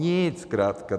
Nic zkrátka.